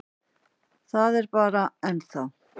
Það er bara. ennþá.